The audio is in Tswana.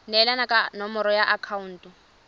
neelana ka nomoro ya akhaonto